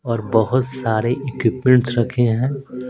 और बहुत सारे इक्विपमेंट्स रखे हैं।